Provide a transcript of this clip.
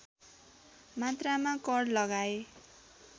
मात्रामा कर लगाए